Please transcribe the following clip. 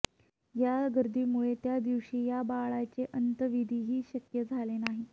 या गर्दीमुळे त्या दिवशी या बाळाचे अंत्यविधीही शक्य झाले नाही